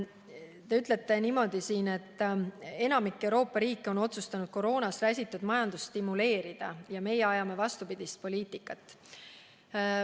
Te ütlete veel, et enamik Euroopa riike on otsustanud koroonast räsitud majandust stimuleerida, aga meie ajame vastupidist poliitikat.